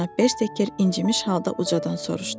Cənab Bersteker incimiş halda ucadan soruşdu.